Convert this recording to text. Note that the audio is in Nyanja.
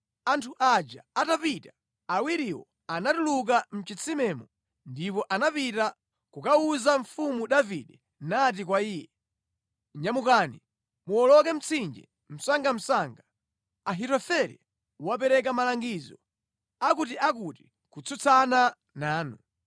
Anthu aja atapita, awiriwo anatuluka mʼchitsimemo ndipo anapita kukawuza mfumu Davide nati kwa iye, “Nyamukani, muwoloke mtsinje msangamsanga. Ahitofele wapereka malangizo akutiakuti kutsutsana nanu.”